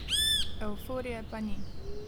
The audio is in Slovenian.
Evforije pa ni.